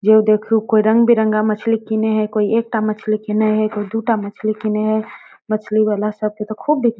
जो यो देखियो कोई रंगबिरंग मछली किने है कोई एकटा मछली किने हेय कोई दू टा मछली किने हेय मछली वाला सब के तो खूब बिक --